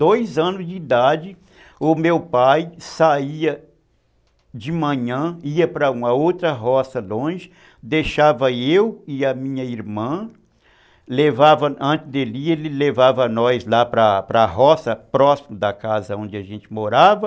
Dois anos de idade, o meu pai saía de manhã, ia para uma outra roça longe, deixava eu e a minha irmã, lavava, antes dele, ele levava nós lá para para a roça, próximo da casa onde a gente morava,